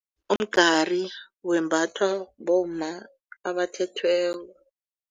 Umgari wembathwa bomma abathethweko.